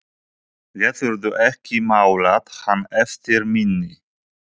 Geturðu ekki málað hann eftir minni?